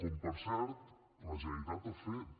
com per cert la generalitat ha fet